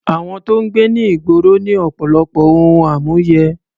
Àwọn tó ń gbé ní ìgboro ní ọ̀pọ̀lọpọ̀ ohun àmúyẹ.